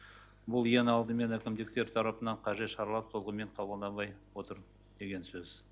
бұл ең алдымен әкімдіктер тарапынан қажет шаралар толығымен қабылданбай отыр деген сөз